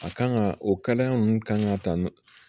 A kan ka o kalaya ninnu kan ka ta nɔ